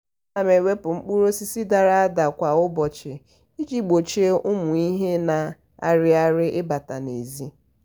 ana m ewepụ mkpụrụ osisi dara ada kwa ụbọchị iji gbochie ụmụ ihe na-arị arị ịbata n'ezi.